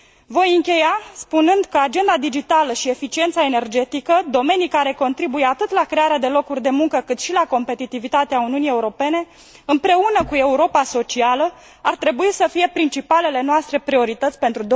Voi încheia spunând că agenda digitală și eficiența energetică, domenii care contribuie atât la crearea de locuri de muncă, cât și la competitivitatea Uniunii Europene, împreună cu Europa socială, ar trebui să fie principalele noastre priorități pentru